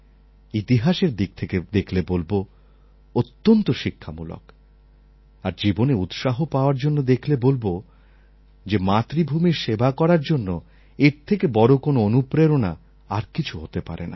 ইতিহাসের দিক থেকে দেখলে বলব অত্যন্ত শিক্ষামূলক আর জীবনে উৎসাহ পাওয়ার জন্য দেখলে বলব যে মাতৃভূমির সেবা করার জন্য এর থেকে বড় কোনও অনুপ্রেরণা আর কিছু হতে পারে না